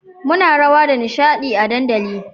muna rawa da nishadi a dandali